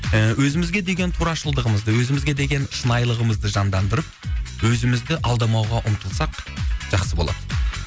ііі өзімізге деген турашылдығымызды өзімізге деген шынайылығымызды жандандырып өзімізді алдамауға ұмтылсақ жақсы болады мхм